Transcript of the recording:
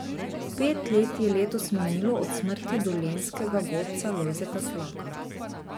Pet let je letos minilo od smrti dolenjskega godca Lojzeta Slaka.